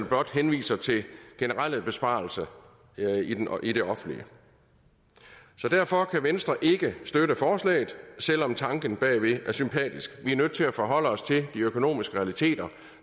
blot henviser til generelle besparelser i det offentlige så derfor kan venstre ikke støtte forslaget selv om tanken bagved er sympatisk vi er nødt til at forholde os til de økonomiske realiteter